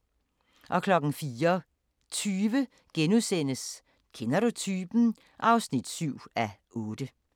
04:20: Kender du typen? (7:8)*